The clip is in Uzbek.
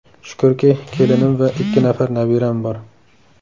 Shukrki, kelinim va ikki nafar nabiram bor.